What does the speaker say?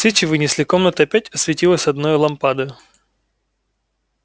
свечи вынесли комната опять осветилась одною лампадою